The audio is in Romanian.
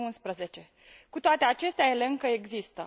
2011. Cu toate acestea, ele încă există.